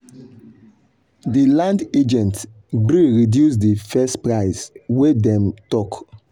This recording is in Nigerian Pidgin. the land agent gree reduce the first price wey dem talk.